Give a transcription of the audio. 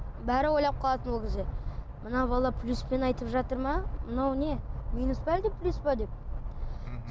бәрі ойлап қалатын ол кезде мына бала плюспен айтып жатыр ма мынау не минус пе әлде плюс пе деп мхм